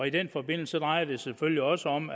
i den forbindelse drejer det sig selvfølgelig også om